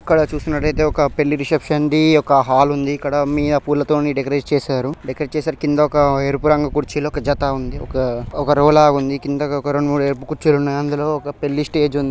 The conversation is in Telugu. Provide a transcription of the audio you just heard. ఇక్కడ చూసినట్లయితే ఒకపెళ్లి రిసెప్షన్ ది ఒక హాల్ ఉంది ఇక్కడ మియా కింద పూలతోని డెకోరేట్ చేశారు డెకోరేట్ చేశారు కింద ఒక ఎరుపు రంగు కుర్చీలు ఒక జత ఉంది ఒక-ఒక రో లా ఉంది కింద ఒక రెండు మూడు కుర్చీలు ఉన్నాయ్. అందులో ఒక పెళ్ళి స్టేజి ఉంది.